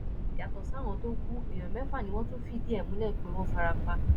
yàtọ sáwọn tó ku èèyàn mẹfà ni wọn tún fìdí ẹ múlẹ pé wọn fara pa